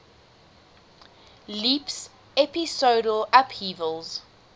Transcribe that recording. leaps episodal upheavals